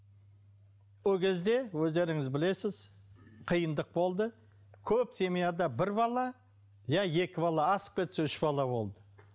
ол кезде өздеріңіз білесіз қиындық болды көп семьяда бір бала я екі бала асып кетсе үш бала болды